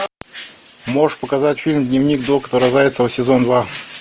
можешь показать фильм дневник доктора зайцевой сезон два